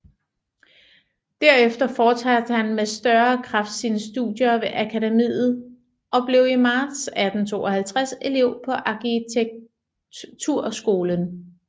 Derefter fortsatte han med større kraft sine studier ved Akademiet og blev i marts 1852 elev på arkitekturskolen